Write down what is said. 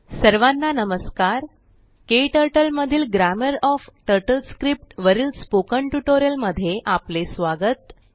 सर्वाना नमस्कार KTurtleमधीलGrammar ओएफ TurtleScriptवरील स्पोकन टयूटोरिअल मध्ये आपले स्वागत आहे